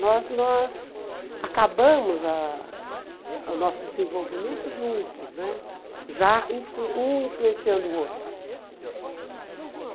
Nós nós acabamos ah o nosso desenvolvimento juntos né, já influen um influenciando o outro.